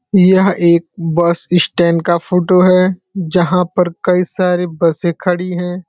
यह एक bus stand का फोटो है जहाँ पर कई सारी बसें खड़ी हैं।